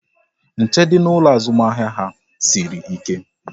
Nche dị n'ụlọ azụmahịa ha sịrị ike